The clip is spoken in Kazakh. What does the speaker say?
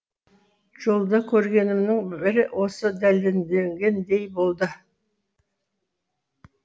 жолда көргенімнің бірі осыны дәлелдегендей болды